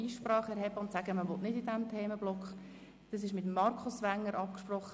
Ich habe die Themenblöcke mit dem Kommissionspräsidenten, Markus Wenger, abgesprochen.